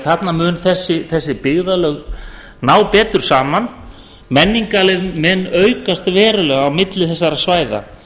þarna munu þessi byggðarlög því ná betur saman menning mun aukast verulega á milli þessara svæða